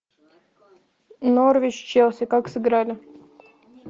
норвич челси как сыграли